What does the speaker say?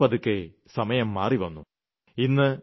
എന്നാൽ പതുക്കെപതുക്കെ സമയം മാറിവന്നു